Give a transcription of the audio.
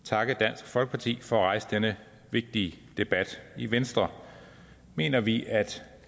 takke dansk folkeparti for at rejse denne vigtige debat i venstre mener vi at